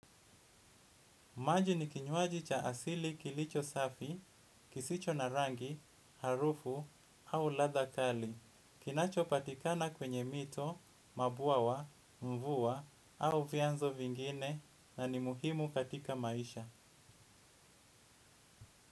Maji ni kinywaji cha asili kilicho safi, kisicho na rangi, harufu au ladha kali. Kinachopatikana kwenye mito, mabuawa, mvua au vianzo vingine na ni muhimu katika maisha.